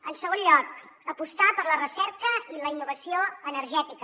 en segon lloc apostar per la recerca i la innovació energètica